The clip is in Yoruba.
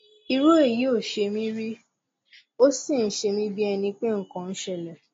irú èyí ò ṣe mí rí ó sì ń ṣemí bí ẹni pé nǹkan ń ṣẹlẹ